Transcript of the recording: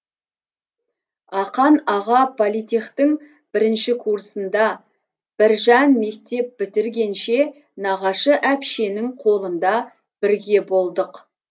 ақан аға политтехтің бірінші курсында біржан мектеп бітіргенше нағашы әпшенің қолында бірге болдық